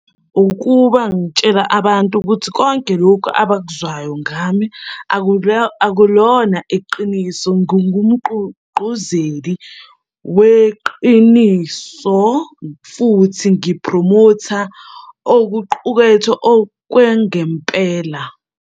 Ukuba ngitshela abantu ukuthi konke lokhu abakuzwayo ngami, akulona iqiniso. Ngingumgqugquzeli weqiniso, futhi ngi-phromotha okuqukethwe okwangempela.